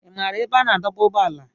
Ị maara ebe a na-adọba ụgbọala?